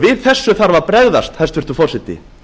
við þessu þarf að bregðast hæstvirtur forseti